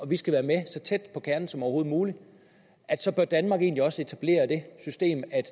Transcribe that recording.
vi skal være med så tæt på kernen som overhovedet muligt så bør danmark egentlig også etablere det system at